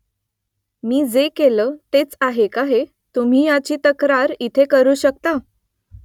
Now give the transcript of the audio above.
मी जे केलं तेच आहे का हे तुम्ही ह्याची तक्रार इथे करू शकता ?